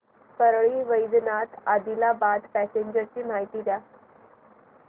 Parli Vaijnath Adilabad passenger ची माहिती द्या